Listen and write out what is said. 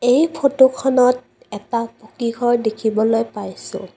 এই ফটোখনত এটা পকীঘৰ দেখিবলৈ পাইছোঁ।